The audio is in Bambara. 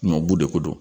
Ɲɔbu de ko don